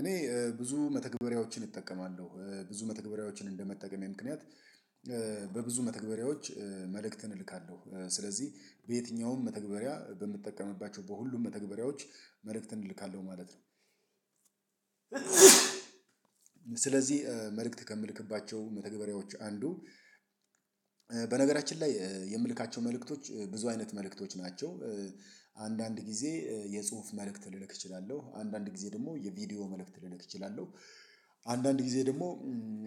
እኔ ብዙ መተግበሪያዎችን እጠቀማለሁ ብዙ መተግበሪያዎችን እንደመጠቀም የምክንያት በብዙ መተግበሪያዎች መልእክትን እልካለሁ ስለዚህ በየትኛውም መተግበሪያ በምጠቀምባቸው በሁሉም መተግበሪያዎች መልእክትን እልካለሁ ማለት ነው። ስለዚህ መልእክት ከምልክባቸው መተግበሪያዎች አንዱ በነገራችን ላይ የምልካቸው መልእክቶች ብዙ አይነት መልእክቶች ናቸው። አንዳንድ ጊዜ የጽሁፍ መልእክት ልልክ እችላለሁ አንዳንድ ጊዜ ደግሞ የቪዲዮ መልእክት ልልክ እችላለሁ። አንዳንድ ጊዜ ደግሞ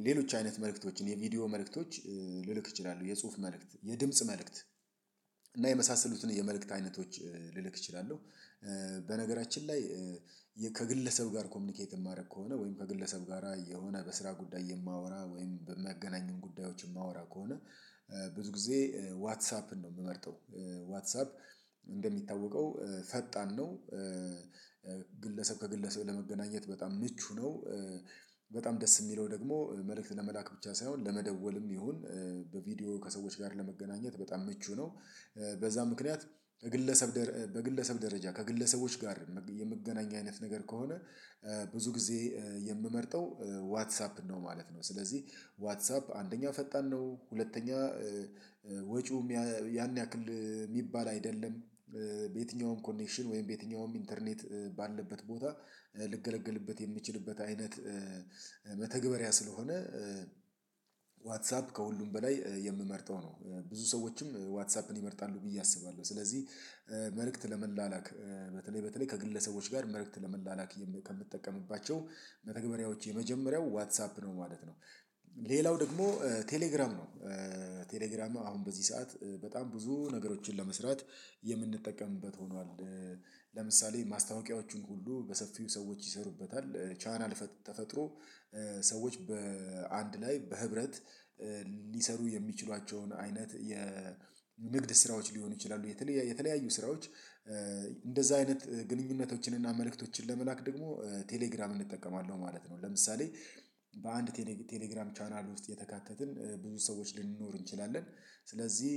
ሌሎች አይነት መልእክቶችን የቪዲዮ መልእክቶች ልልክ እችላለሁ የጽሁፍ መልእክት የድምጽ መልእክት እና የመሳሰሉትን የመልእክት አይነቶች ልልክ እችላለሁ። በነገራችን ላይ ከግለሰብ ጋር ኮሚኒኬት የማደርግ ከሆነ ወይም ከግለሰብ ጋራ የሆነ በስራ ጉዳይ የማወራ ወይም የምገናኝ ጉዳዮች የማወራ ከሆነ ብዙ ጊዜ ዋትሳፕን ነው የምመርጠው። ዋትሳፕ እንደሚታወቀው ፈጣን ነው። ግለሰብ ከግለሰብ ለመገናኘት በጣም ምቹ ነው። በጣም ደስ የሚለው ደግሞ መልእክት ለመላክ ብቻ ሳይሆን ለመደወልም ይሁን በቪዲዮ ከሰዎች ጋር ለመገናኘት በጣም ምቹ ነው። በዛ ምክንያት በግለሰብ በግለሰብ ደረጃ ከግለሰቦች ጋር የምገናኝ አይነት ነገር ከሆነ ብዙ ጊዜ የምመርጠው ዋትሳፕ ነው ማለት ነው። ስለዚህ ዋትሳፕ አንደኛው ፈጣን ነው ሁለተኛ ወጪው ያን ያክል የሚባል አይደለም። በየትኛውም ኮኔክሽን ወይም በየትኛውም ኢንተርኔት ባለበት ቦታ ልንገለግልበት የምችልበት አይነት መተግበሪያ ስለሆነ ዋትሳፕ ከሁሉም በላይ የምመርጠው ነው። ብዙ ሰዎችም ዋትሳፕን ይመርጣሉ ብዬ አስባለሁ። ስለዚህ መልእክት ለመላላክ በተለይ በተለይ ከግለሰቦች ጋር መልእክት ለመላላክ ከምጠቀምባቸው መተግበሪያዎች የመጀመሪያው ዋትሳፕ ነው ማለት ነው። ሌላው ደግሞ ቴሌግራም ነው። ቴሌግራም አሁን በዚህ ሰዓት በጣም ብዙ ነገሮችን ለመስራት የምንጠቀምበት ሆኗል። ለምሳሌ ማስታወቂያዎቹን ሁሉ በሰፊው ሰዎች ይሰሩበታል ቻናል ተፈጥሮ ሰዎች በአንድ ላይ በህብረት ሊሰሩ የሚችሏቸውን አይነት የንግድ ስራዎች ሊሆኑ ይችላሉ። የተለያዩ ስራዎች። እንደዛ አይነት ግንኙነቶችን እና መልእክቶችን ለመላክ ደግሞ ቴሌግራም እንጠቀማለን ማለት ነው። ለምሳሌ በአንድ ቴሌግራም ቻናል ውስጥ የተካተትን ብዙ ሰዎች ልንኖር እንችላለን። ስለዚህ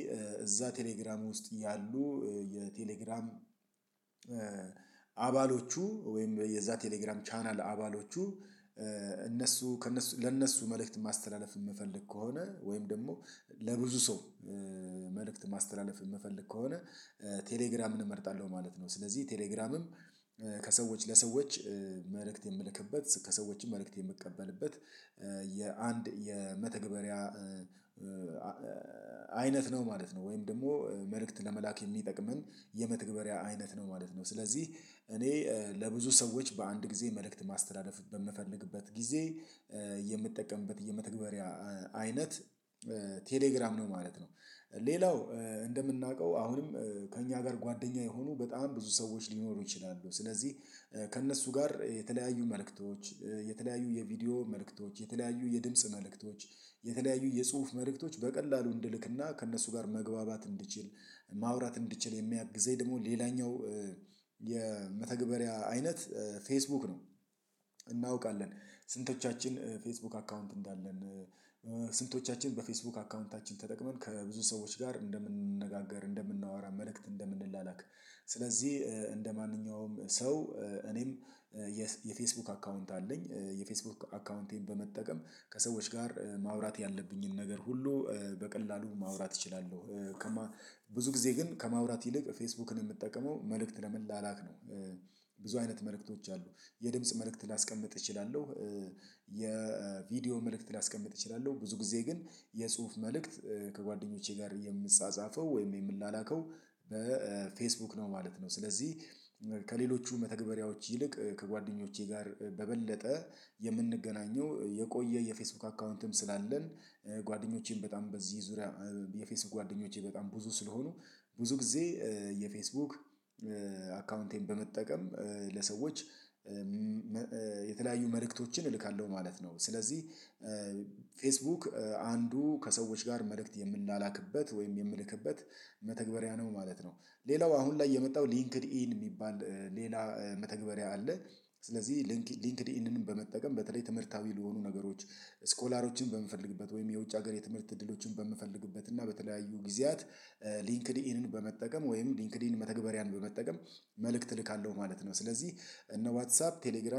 እዛ ቴሌግራም ውስጥ ያሉ የቴሌግራም አባሎቹ ወይም የዛ ቴሌግራም ቻናል አባሎቹ እነሱ ከእነሱ ለእነሱ መልእክት ማስተላለፍ የምፈልግ ከሆነ ወይም ደግሞ ለብዙ ሰው መልእክት ማስተላለፍ የምፈልግ ከሆነ ቴሌግራም እመርጣለሁ ማለት ነው። ስለዚህ ቴሌግራምም ሰዎች ከሰዎች የምልክበት ከሰዎችም መልእክት የምቀበልበት የአንድ የመተግበሪያ አይነት ነው ማለት ነው። ወይም ደግሞ መልእክት ለመላክ የሚጠቅመን የመተግበሪያ አይነት ነው ማለት ነው። ስለዚህ እኔ ለብዙ ሰዎች በአንድ ጊዜ መልእክት ማስተላለፍ በምፈልግበት ጊዜ የምጠቀምበት የመተግበሪያ አይነት ቴሌግራም ነው ማለት ነው። ሌላው እንደምናውቀው አሁንም ከእኛ ጋር ጓደኛ የሆኑ በጣም ብዙ ሰዎች ሊኖሩ ይችላሉ። ስለዚህ ከእነሱ ጋር የተለያዩ መልእክቶች የተለያዩ የቪዲዮ መልእክቶች የተለያዩ የድምጽ መልእክቶች የተለያዩ የጽሁፍ መልእክቶች በቀላሉ እንድልክና ከእነሱ ጋር መግባባት እንድችል ማውራት እንድችል የሚያግዘኝ ደግሞ ሌላኛው የመተግበሪያ አይነት ፌስቡክ ነው። እናውቃለን ስንቶቻችን ፌስቡክ አካውንት እንዳለን ስንቶቻችን በፌስቡክ አካውንታችን ተጠቅመን ከብዙ ሰዎች ጋር እንደምንነጋገር እንደምናወራ መልእክት እንደምንላላክ። ስለዚህ እንደማንኛውም ሰው እኔም የፌስቡክ አካውንት አለኝ። የፌስቡክ አካውንቴን በመጠቀም ከሰዎች ጋር ማውራት ያለብኝን ነገር ሁሉ በቀላሉ ማውራት እችላለሁ። ከማ ብዙ ጊዜ ግን ከማውራት ይልቅ ፌስቡክን የምጠቀመው መልእክት ለመላላክ ነው። ብዙ አይነት መልእክቶች አሉ። የድምጽ መልእክት ላስቀምጥ እችላለሁ። የቪዲዮ መልእክት ላስቀምጥ እችላለሁ ብዙ ጊዜ ግን የጽሁፍ መልእክት ከጓደኞቼ ጋር የምጻጻፈው ወይም የምንላከው በፌስቡክ ነው ማለት ነው። ስለዚህ ከሌሎቹ መተግበሪያዎች ይልቅ ከጓደኞቼ ጋር በበለጠ የምንገናኘው የቆየ የፌስቡክ አካውንትም ስላለን ጓደኞቼም በጣም በዚህ ዙሪያ የፌስቡክ ጓደኞቼ በጣም ብዙ ስለሆኑ ብዙ ጊዜ የፌስቡክ አካውንቴን በመጠቀም ለሰዎች የተለያዩ መልእክቶችን እልካለሁ ማለት ነው። ስለዚህ ፌስቡክ አንዱ ከሰዎች ጋር መልእክት የምንላላክበት ወይም የምልክበት መተግበሪያ ነው ማለት ነው። ሌላው አሁን ላይ የመጣው ሊንክድ ኢን የሚባል ሌላ መተግበሪያ አለ። ስለዚህ ሊንክድ ኢንድንን በመጠቀም በተለይ ትምህርታዊ ለሆኑ ነገሮች ስኮላሮችን በምፈልግበት ወይም የውጭ ሀገር የትምህርት እድሎችን በምፈልግበት እና በተለያዩ ጊዜያት ሊንክድ ኢንን በመጠቀም ወይም ሊንክድ ኢን መተግበሪያን በመጠቀም መልእክት እልካለሁ ማለት ነው። ስለዚህ እነ ዋትሳፕ ቴሌግራም